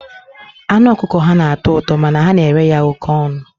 Anụ ọkụkọ ha na-atọ ụtọ, mana ha na-ere ya oké ọnụ.